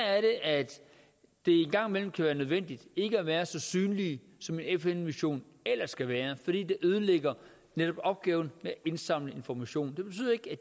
at det en gang imellem kan være nødvendigt ikke at være så synlig som en fn mission ellers skal være fordi det ødelægger opgaven med at indsamle information